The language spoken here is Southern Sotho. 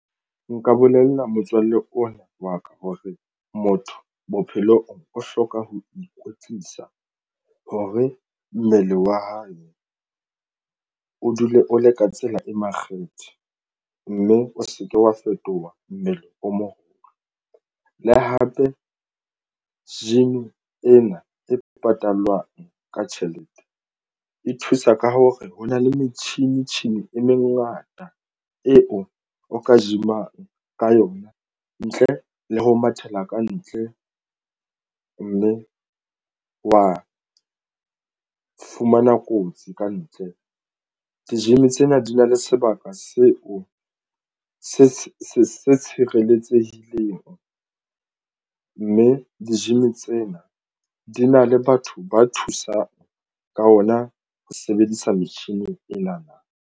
Nka bolella motswalle ona wa ka hore motho bophelong o hloka ho ikwetlisa hore mmele wa hae o dule o le ka tsela e makgethe mme o se ke wa fetoha mmele o moholo le hape gym ena e patalwang ka tjhelete e thusa ka hore ho na le metjhini tjhini e mengata eo e o ka gym-ang ka yona ntle le ho mathela kantle mme wa fumana kotsi kantle ke gym. Tsena di na le sebaka seo se se tshireletsehileng mme di-gym tsena di na le batho ba thusang ka ona ho sebedisa metjhini ena na.